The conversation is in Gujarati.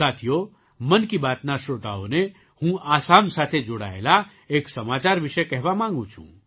સાથીઓ મન કી બાતના શ્રોતાઓને હું આસામ સાથે જોડાયેલા એક સમાચાર વિશે કહેવા માગું છું